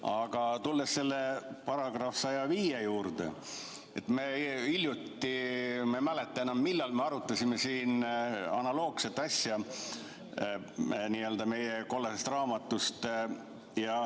Aga tulles selle § 105 juurde, me hiljuti – ma ei mäleta enam, millal – arutasime siin analoogset asja meie n-ö kollasest raamatust.